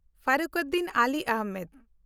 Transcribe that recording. Fakhruddin Ali Ahmed